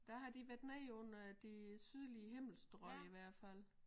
Der har de været nede under de sydlige himmelstrøg i hvert fald